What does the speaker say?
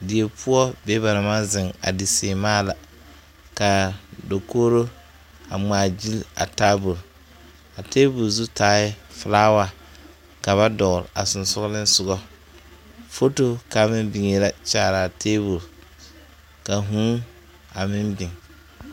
Die poɔ be ba naŋ maŋ zeŋ a di seemaa la ka dakogro a ŋmaagyili a tabol a tabol zu taaɛ filawa ka ba dɔgle a sensoglesoga foto kaŋ meŋ biŋe la kyaare a tabol ka huu a meŋ biŋ.